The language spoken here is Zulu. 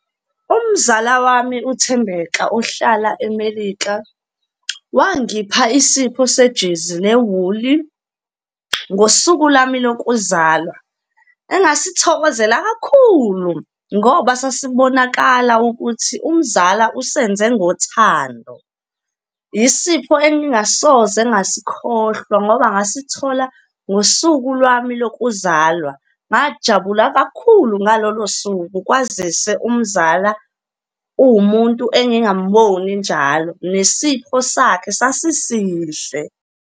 Umzala wami uThembeka ohlala eMelika, wangipha isipho sejezi lewuli ngosuku lwami lokuzalwa, engasithokozela kakhulu ngoba sasibonakala ukuthi umzala usenze ngothando. Yisipho engingasoze ngasikhohlwa ngoba ngasithola ngosuku lwami lokuzalwa. Ngajabula kakhulu ngalolo suku, kwazise umzala uwumuntu engingamboni njalo, nesipho sakhe sasisihle.